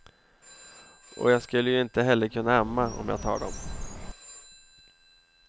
Och jag skulle ju inte heller kunna amma om jag tar dem.